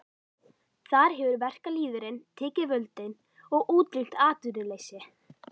Þar hefur verkalýðurinn tekið völdin og útrýmt atvinnuleysi.